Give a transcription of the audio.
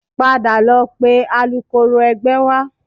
Padà lọ pe alukoro ẹgbẹ́ wá